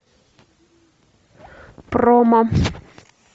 промо